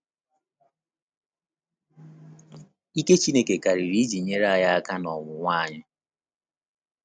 Ike Chineke karịrị iji nyere anyị aka n’ọnwụnwa anyị.